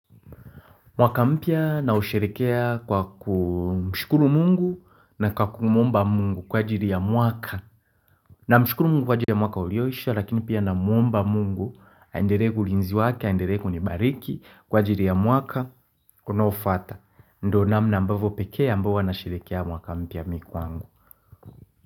Mwaka mpya nausherehekea kwa kumshukuru mungu na kwa kumwomba mungu kwa ajili ya mwaka. Na mshukuru mungu kwa ajili ya mwaka ulioisha lakini pia namwomba mungu, aendelee ulinzi wake, aendele kunibariki kwa ajili ya mwaka unaofuata. Ndo namna ambavyo pekee ambao nasherehekea mwaka mpya mimi kwangu.